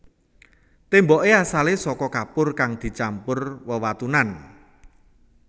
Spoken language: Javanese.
Témboké asalé saka kapur kang dicampur wewatunan